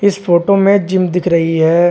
इस फोटो में जिम दिख रही है।